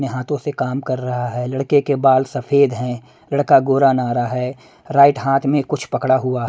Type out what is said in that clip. ने हाथों से काम कर रहा है लड़के के बाल सफेद हैं लड़का गोरा नारा है राइट हाथ में कुछ पकड़ा हुआ।